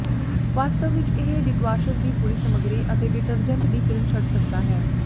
ਵਾਸਤਵ ਵਿਚ ਇਹ ਡੀਟਵਾਸ਼ਰ ਦੀ ਪੂਰੀ ਸਮੱਗਰੀ ਤੇ ਡਿਟਰਜੈਂਟ ਦੀ ਫ਼ਿਲਮ ਛੱਡ ਸਕਦਾ ਹੈ